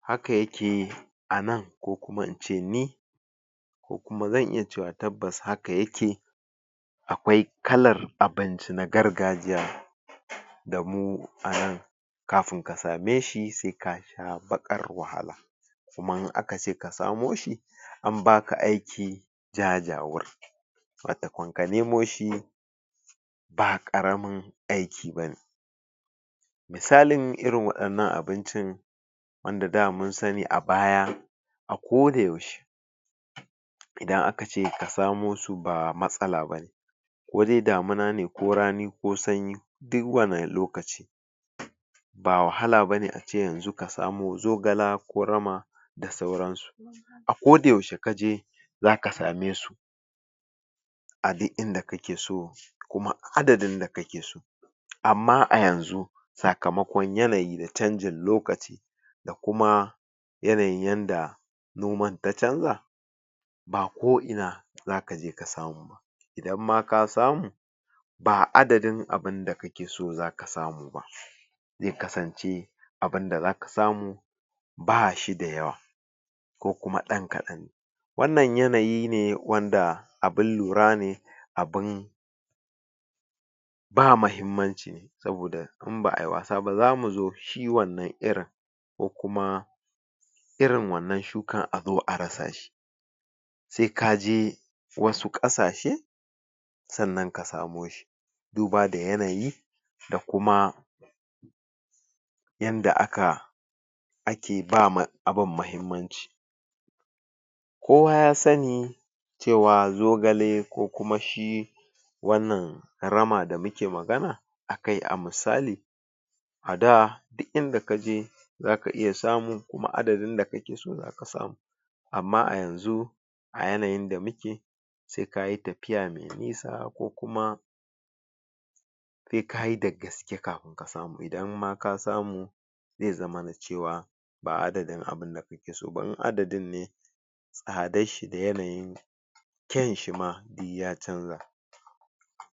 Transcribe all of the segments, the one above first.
haka yake anan ko kuma ince ni ko kuma zan iya cewa tabbas haka yake akwai kalar abinci na gargajiya da mu a nan kafin ka same shi sai ka sha baƙar wahala kuma in akace ka samo shi an baka aiki jajawur watokon ka nemo shi ba ƙaramin aiki bane misalin irin waɗannan abincin wanda da mun sani a baya a koda yaushe idan akace ka samo su ba matsala bane kodai damuna ne ko rani ko sanyi duk wani lokaci ba wahala bane ace yanzu ka samo zogala ko rama da sauran su a koda yaushe kaje zaka same su a duk inda kakeso kuma adadin da kakeso amma a yanzu sakamako yanayi na canjin lokaci da kuma yanayin yanda noman ta canza ba ko ina zakaje ka samu idan ma ka samu ba adadin abunda kakeso zaka samu ba zai kasance abunda zaka samu ba shi da yawa ko kuma ɗan kaɗan wannan yanayi ne wanda abun lura ne abun ba mahimmanci saboda in ba'ayi wasa ba zamu zo shi wannan irin ko kuma irin wannan shukan azo a rasa shi sai kaje wasu ƙasashe sannan ka samo duba da yanayi da kuma yanda aka ake ba ma abun mahimmanci kowa ya sani cewa zogale ko kuma shi wannan rama da muke magana akai a misali a da duk inda kaje zaka iya samu kuma adadin da kakeso zaka samu amma a yanzu a yanayin da muke sai kayi tafiya mai nisa ko kuma sai kayi dagaske kafin ka samu idanma ka samu zai zamana cewa ba adadin abunda kakeso ba in adadin ne tsadan shi da yanayin kyanshi ma duk ya canja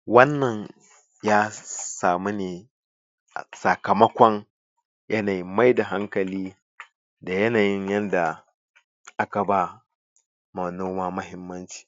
wannan ya samu ne a sakamakon yanayin maida hankali da yanayin yanda aka ba ma noma mahimmanci